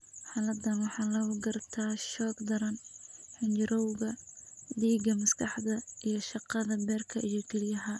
Xaaladdan waxaa lagu gartaa shoog daran, xinjirowga dhiigga, maskaxda, iyo shaqada beerka iyo kelyaha.